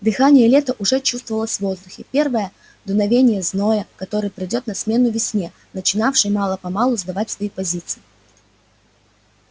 дыхание лета уже чувствовалось в воздухе первое дуновение зноя который придёт на смену весне начинавшей мало-помалу сдавать свои позиции